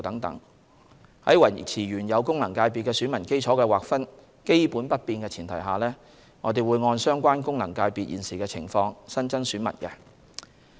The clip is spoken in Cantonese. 在維持原有功能界別的選民基礎的劃分基本不變的前提下，我們會按相關功能界別現時的情況新增選民。